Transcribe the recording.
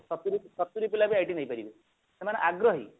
ଶତୁରି ଶତୁରି ପିଲାବି IT ନେଇପାରିବେ ସେମାନେ ଆଗ୍ରହୀ